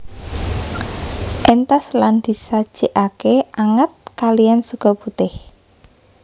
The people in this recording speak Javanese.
Entas lan disajekake anget kaliyan sega putih